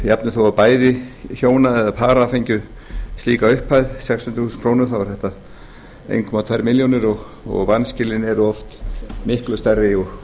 jafnvel þó bæði hjóna eða para fengju slíka upphæð sex hundruð þúsund krónur þá er þetta eitt komma tvær milljónir og vanskilin eru oft miklu stærri